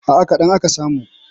A'a kaɗan aka samu.